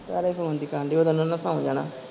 ਓਦੋ ਨੂੰ ਓਹਨਾ ਸੋ ਜਾਣਾ।